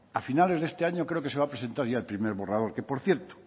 al finales de este año creo que se va a presentar ya el primer borrador que por cierto